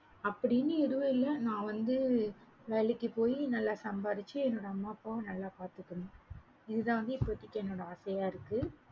அப்படின்னு எதும் இல்ல நான் வந்து வேலைக்கு போயி நல்ல சம்பாரிச்சி என்னோட அம்மா அப்பாவா நல்ல பாத்துக்கணும் இது தான் வந்து இப்போதைக்கு என்னோட ஆசையா இருக்கு